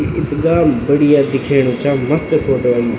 इथगा बढ़िया दिखेणु चा मस्त फोटो आईं।